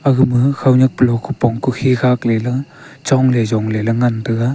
agama khawnyak pulo khopong kukhi khak lela chongley yongley ngan taiga.